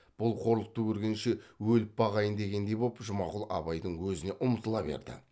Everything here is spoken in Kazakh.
бұл қорлықты көргенше өліп бағайын дегендей боп жұмағұл абайдың өзіне ұмтыла берді